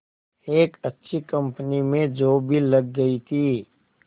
एक अच्छी कंपनी में जॉब भी लग गई थी